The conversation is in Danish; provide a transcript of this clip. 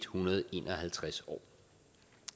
hundrede og en og halvtreds år